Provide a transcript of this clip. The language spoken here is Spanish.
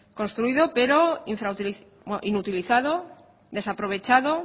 construido pero inutilizado desaprovechado